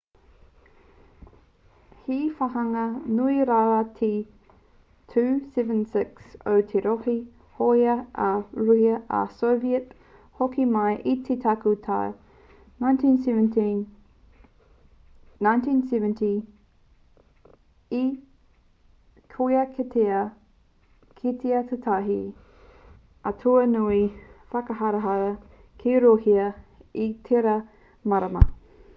he wāhanga nui rawa te ii-76 o te ope hōia a rūhia a soviet hoki mai i te tekau tau 1970 ā kua kitea kētia tētahi aituā nui whakaharahara ki rūhia i tērā marama